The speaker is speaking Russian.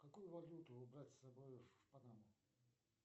какую валюту брать с собой в панаму